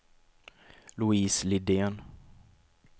Louise Lidén